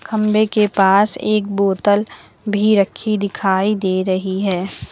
खंबे के पास एक बोतल भी रखी दिखाई दे रही है।